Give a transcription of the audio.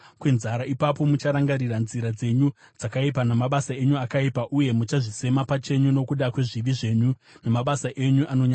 Ipapo mucharangarira nzira dzenyu dzakaipa namabasa enyu akaipa, uye muchazvisema pachenyu nokuda kwezvivi zvenyu namabasa enyu anonyangadza.